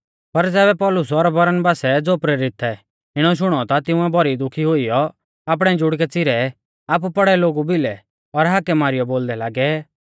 पर ज़ैबै पौलुस और बरनबासै ज़ो प्रेरित थै इणौ शुणौ ता तिंउऐ भौरी दुखी हुइयौ आपणै जुड़कै च़िरै आपु पौड़ै लोगु भिलै और हाकै मारीयौ बोलदै लागै